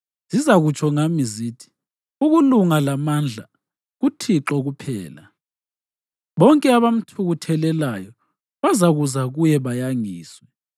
Zizakutsho ngami zithi, ‘Ukulunga lamandla kuThixo kuphela.’ ” Bonke abamthukuthelelayo bazakuza kuye bayangiswe.